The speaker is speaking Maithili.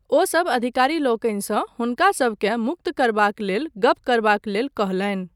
ओसब अधिकारी लोकनिसँ हुनकासभकेँ मुक्त करबाकक लेल गप करबाक लेल कहलनि।